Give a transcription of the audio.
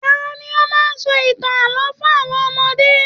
Tani o máa n sọ ìtàn ààlọ́ fún àwọn ọmọdé?